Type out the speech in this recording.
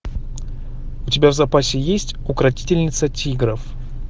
у тебя в запасе есть укротительница тигров